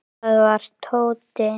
Það var Tóti.